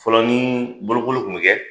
Fɔlɔ ni bolokoli kun bi kɛ